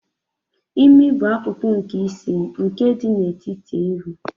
Imi bụ akụkụ nke isi, nke dị n'etiti ihu.